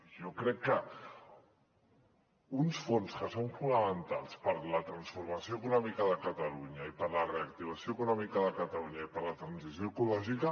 jo crec que uns fons que són fonamentals per la transformació econòmica de catalunya i per la reactivació econòmica de catalunya i per la transició ecològica